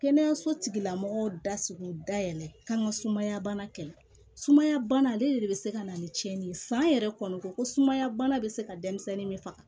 Kɛnɛyaso tigila mɔgɔw da sugu da yɛlɛ ka n ka sumaya bana kɛ sumaya bana ale de bɛ se ka na ni cɛnni ye san yɛrɛ kɔni ko sumaya bana bɛ se ka denmisɛnnin min faga